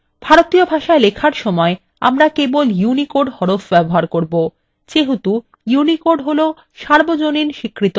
ভারতীয় ভাষায় লেখার সময় আমরা কেবল unicode হরফ ব্যবহার করব যেহেতু unicode হলো সর্বজনীন স্বীকৃত হরফ